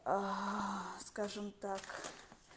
скажем так